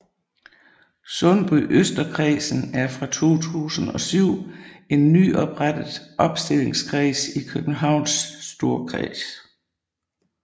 Sundbyøsterkredsen er fra 2007 en nyoprettet opstillingskreds i Københavns Storkreds